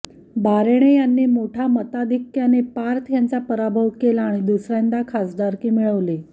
बारेणे यांनी मोठ्या मताधिक्क्याने पार्थ यांचा पराभव केला आणि दुसऱ्यांदा खासदारकी मिळवली